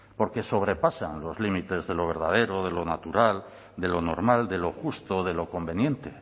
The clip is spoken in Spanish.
porque sobrepasan los límites de lo verdadero de lo natural de lo normal de lo justo de lo conveniente